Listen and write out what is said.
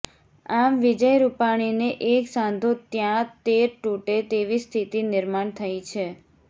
આમ વિજય રૂપાણીને એક સાંધો ત્યાં તેર તુટે તેવી સ્થિતિ નિર્માણ થઈ છે